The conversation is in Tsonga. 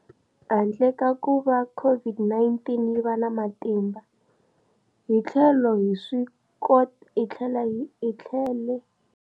Handle ka kuva COVID-19 yi va na matimba, hi tlhele.